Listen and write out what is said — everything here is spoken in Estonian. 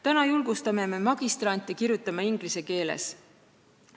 Nüüd aga julgustame magistrante kirjutama inglise keeles.